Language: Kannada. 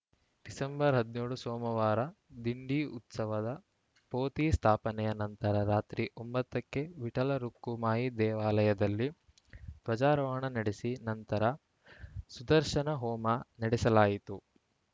ಡಿಸೆಂಬರ್ಹದಿನೇಳು ಸೋಮವಾರ ದಿಂಡಿ ಉತ್ಸವದ ಪೋತಿ ಸ್ಥಾಪನೆಯ ನಂತರ ರಾತ್ರಿ ಒಂಬತ್ತಕ್ಕೆ ವಿಠಲ ರುಕ್ಕುಮಾಯಿ ದೇವಾಲಯದಲ್ಲಿ ಧ್ವಜಾರೋಹಣ ನಡೆಸಿ ನಂತರ ಸುದರ್ಶನ ಹೋಮ ನಡೆಸಲಾಯಿತು